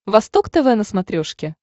восток тв на смотрешке